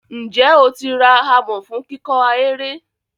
Ǹjẹ́ o ti ara amọ̀ fún kíkọ́ ahéré?